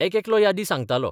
एकेकलो यादी सांगतालो.